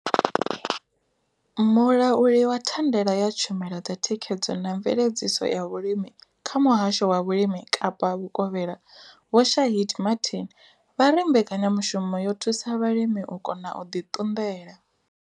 Mulauli wa thandela ya tshumelo dza thikhedzo na mveledziso ya vhulimi kha muhasho wa vhulimi Kapa vhukovhela Vho Shaheed Martin vha ri mbekanyamushumo yo thusa vhalimi u kona u ḓi ṱunḓela.